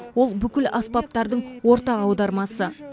ол бүкіл аспаптардың ортақ аудармасы